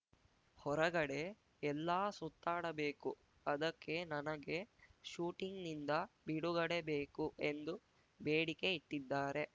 ಹೊರಗಡೆ ಎಲ್ಲಾ ಸುತ್ತಾಡಬೇಕು ಅದಕ್ಕೆ ನನಗೆ ಶೂಟಿಂಗ್‌ನಿಂದ ಬಿಡುಗಡೆ ಬೇಕು ಎಂದು ಬೇಡಿಕೆ ಇಟ್ಟಿದ್ದಾರೆ